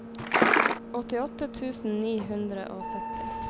åttiåtte tusen ni hundre og sytti